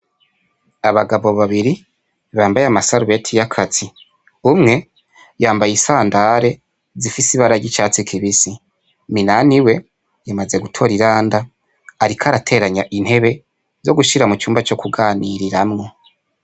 Abagabo babiri bambaye amasarubeti y'akazi umwe yambaye isandare zifise ibara ry'icatsi kibisi Minani we yamaze gutora iyanda ariko arateranya intebe zo gushira mu cumba co kuganiriramwo.